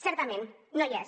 certament no hi és